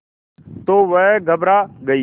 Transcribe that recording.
तो वह घबरा गई